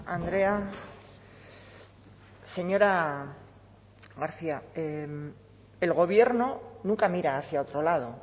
andrea señora garcia el gobierno nunca mira hacia otro lado